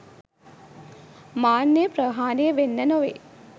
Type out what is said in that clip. මාන්නය ප්‍රහාණය වෙන්න නෙවෙයි